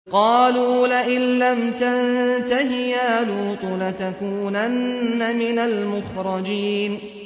قَالُوا لَئِن لَّمْ تَنتَهِ يَا لُوطُ لَتَكُونَنَّ مِنَ الْمُخْرَجِينَ